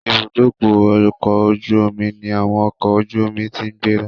Ìbúdókọ̀ ọ̀kọ̀ ojú omi ní àwọn ọkọ̀ ojú omi ti ń gbéra